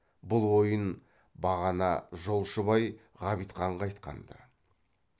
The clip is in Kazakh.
бұл ойын бағана жолшыбай ғабитханға айтқан ды